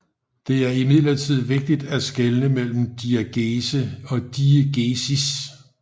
Det er imidlertid vigtigt at skelne mellem diegese og diegesis